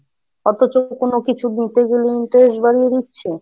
অথচ কোনো কিছু দিতে গেলে interest বাড়িয়ে দিচ্ছে।